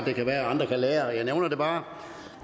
det kan være andre kan lære af jeg nævner det bare